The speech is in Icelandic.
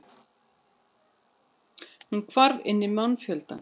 Hún hvarf inn í mannfjöldann.